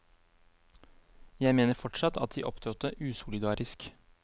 Jeg mener fortsatt at de opptrådte usolidarisk.